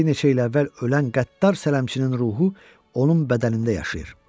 Bir neçə il əvvəl ölən qəddar sələmçinin ruhu onun bədənində yaşayır.